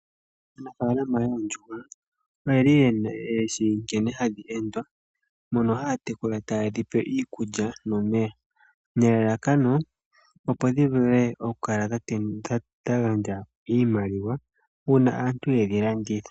Aanafaalama yoondjuhwa oyeli yeshi nkene hadhi endwa. Mono haatekula tayedhi pe iikula nomeya, nelalakano opo dhivule okukala dhagandja iimaliwa una aantu yedhilanditha.